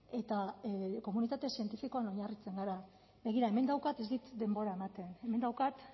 eta komunitate zientifikoan oinarritzen gara begira hemen daukat ez dit denbora ematen hemen daukat